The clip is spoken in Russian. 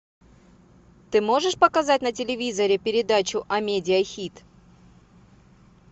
ты можешь показать на телевизоре передачу амедиа хит